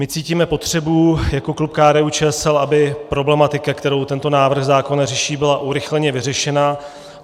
My cítíme potřebu jako klub KDU-ČSL, aby problematika, kterou tento návrh zákona řeší, byla urychleně vyřešena.